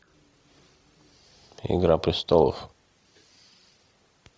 игра престолов